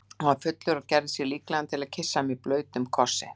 Hann var fullur og gerði sig líklegan til að kyssa mig blautum kossi.